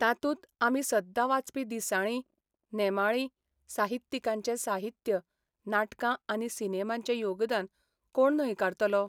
तातूंत आमी सद्दां वाचपी दिसाळीं, नेमाळी, साहित्यिकांचें साहित्य, नाटकां आनी सिनेमांचें योगदान कोण न्हयकारतलो?